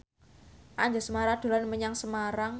Anjasmara dolan menyang Semarang